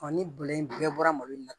ni bɔlɔ in bɛɛ bɔra malo in na